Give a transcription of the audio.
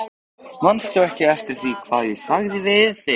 Manstu ekki eftir því hvað ég sagði við þig?